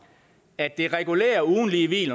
at det regulære ugentlige hvil